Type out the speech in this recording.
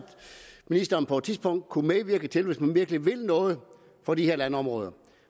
ministeren på et tidspunkt kunne medvirke til hvis man virkelig vil noget for de her landområder